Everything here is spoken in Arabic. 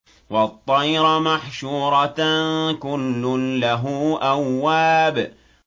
وَالطَّيْرَ مَحْشُورَةً ۖ كُلٌّ لَّهُ أَوَّابٌ